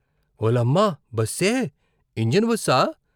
ఓలమ్మ బస్సే ఇంజను బస్సా?